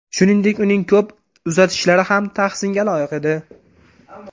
Shuningdek, uning to‘p uzatishlari ham tahsinga loyiq edi.